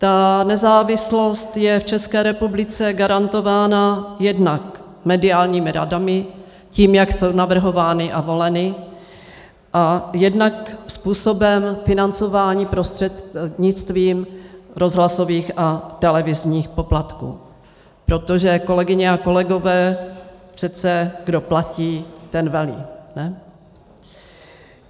Ta nezávislost je v České republice garantována jednak mediálními radami, tím, jak jsou navrhovány a voleny, a jednak způsobem financování prostřednictvím rozhlasových a televizních poplatků, protože, kolegyně a kolegové, přece kdo platí, ten velí, ne?